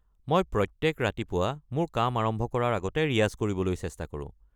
মই প্ৰত্যেক ৰাতিপুৱা মোৰ কাম আৰম্ভ কৰাৰ আগতে ৰিয়াজ কৰিবলৈ চেষ্টা কৰো।